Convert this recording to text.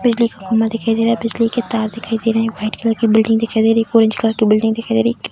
बिजली का खंभा दिखाई दे रहा है बिजली के तार दिखाई रहे है व्हाइट कलर के बिल्डिंग दिखाई दे रही है ऑरेंज कलर की बिल्डिंग दिखाई दे रही है।